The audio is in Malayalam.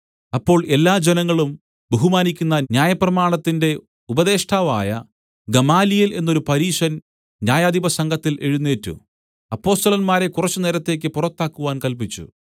അപ്പോൾ എല്ലാജനങ്ങളും ബഹുമാനിക്കുന്ന ന്യായപ്രമാണത്തിന്റെ ഉപദേഷ്ടാവായ ഗമാലിയേൽ എന്നൊരു പരീശൻ ന്യായാധിപസംഘത്തിൽ എഴുന്നേറ്റ് അപ്പൊസ്തലന്മാരെ കുറച്ചുനേരത്തേക്ക് പുറത്താക്കുവാൻ കല്പിച്ചു